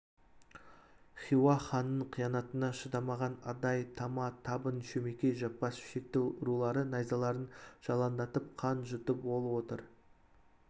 хиуа ханының қиянатына шыдамаған адай тама табын шөмекей жаппас шекті рулары найзаларын жалаңдатып қан жұтып ол отыр